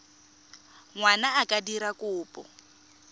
ngwana a ka dira kopo